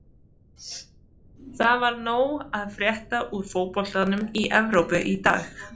Það var nóg að frétta úr fótboltanum í Evrópu í dag.